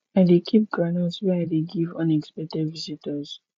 i dey keep groundnut wey i dey give unexpected visitors